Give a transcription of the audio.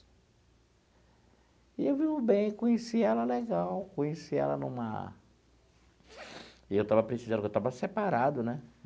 E eu vi o bem, conheci ela legal, conheci ela numa... E eu estava precisando, porque eu estava separado, né?